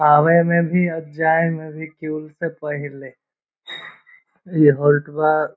आवे में भी और जाय में भी से पहिले इ होल्ट बा।